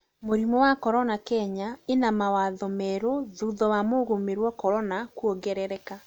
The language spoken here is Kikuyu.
Mũrimũ wa corona: Kenya ĩna mawatho merũ thutha wa mũgũmĩrĩwa Corona kuogerereka